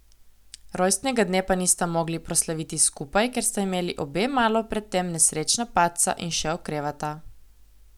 Rojstnega dne pa nista mogli proslaviti skupaj, ker sta imeli obe malo pred tem nesrečna padca in še okrevata.